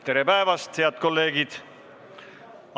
Tere päevast, head kolleegid!